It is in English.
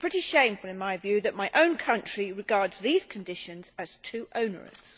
It is pretty shameful, in my view, that my own country regards these conditions as too onerous.